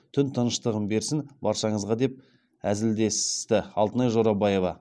түн тыныштығын берсін баршаңызға деп әзілдесті алтынай жорабаева